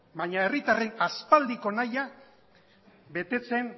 baina herritarren aspaldiko nahia betetzen